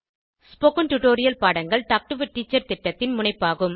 spoken tutorial பாடங்கள் talk to a teacher திட்டத்தின் முனைப்பாகும்